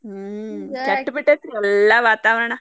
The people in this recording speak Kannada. ಹ್ಮ್ ಕೆಟ್ಟಬಿಟ್ಟೇತಿ ಎಲ್ಲಾ ವಾತಾವರಣ.